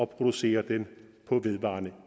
producere den på vedvarende